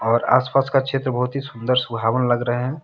और आसपास का क्षेत्र बहुत ही सुंदर सुहावन लग रहे हैं।